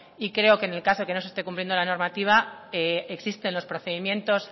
y creo que en el caso que no se esté cumpliendo la normativa existen los procedimientos